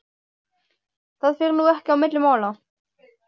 Það fer nú ekki á milli mála